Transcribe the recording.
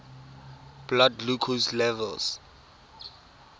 blood glucose levels